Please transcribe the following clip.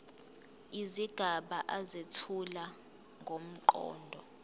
izigaba ezethula ngomqondo